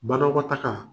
Banakɔtaga